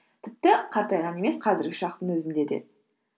тіпті қартайған емес қазіргі шақтың өзінде де